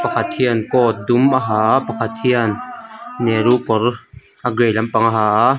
khat hian coat dum a ha a pakhat hian nehru kawr a grey lampang a ha a.